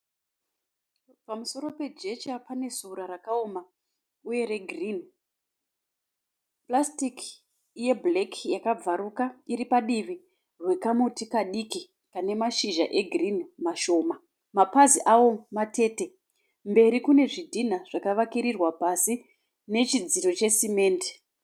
Pamusoro pejecha pane sora rakaoma uye regirini. Purasitiki yebhureki yakabvaruka iri padivi nekamuti kadiki kane mashizha egirini mashoma. Mapazi awo matete. Mberi kune zvidhinha zvakavakiririrwa pasi chidziro nesimendi.